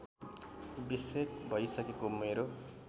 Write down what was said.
बिसेक भइसकेको मेरो